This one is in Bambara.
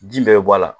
Ji bɛɛ bɛ bɔ a la